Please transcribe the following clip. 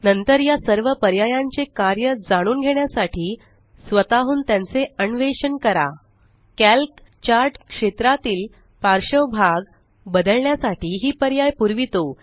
नंतर या सर्व पर्यायांचे कार्य जाणून घेण्यासाठी स्वताहून त्यांचे अण्वेषन करा कॅल्क चार्ट क्षेत्रातील पार्श्वभाग बदलण्याससाठी ही पर्याय पुरवीतो